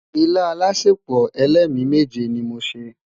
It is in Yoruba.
ìlà álàsèpo ẹlẹmi méje ní mọ ṣé